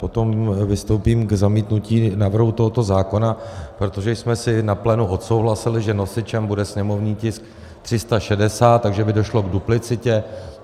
Potom vystoupím k zamítnutí návrhu tohoto zákona, protože jsme si na plénu odsouhlasili, že nosičem bude sněmovní tisk 360, takže by došlo k duplicitě.